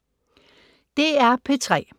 DR P3